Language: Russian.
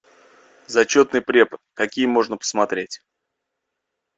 зачетный препод какие можно посмотреть